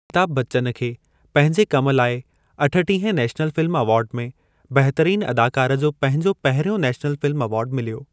अमिताभ बच्चन खे पंहिंजे कम लाइ अठटीह नेशनल फ़िल्म अवार्ड में बहतरीन अदाकार जो पंहिंजो पहरियों नेशनल फ़िल्म अवार्ड मिलियो।